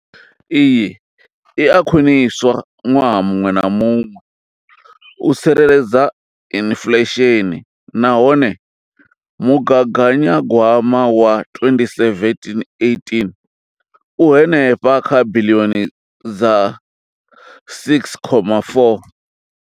Iyi i a khwiniswa ṅwaha muṅwe na muṅwe u tsireledza inflesheni nahone mugaganyagwama wa 2017 18 u henefha kha biḽioni dza R6.4.